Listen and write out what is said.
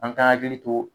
An ka hakili to